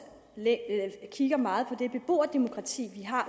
kigger meget på det beboerdemokrati vi har